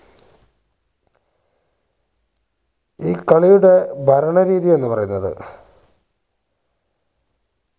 ഈ കളിയുടെ ഭരണരീതി എന്ന് പറയുന്നത്